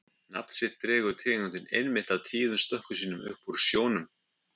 Nafn sitt dregur tegundin einmitt af tíðum stökkum sínum upp úr sjónum.